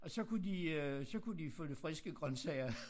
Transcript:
Og så kunne de øh så kunne de få lidt friske grøntsager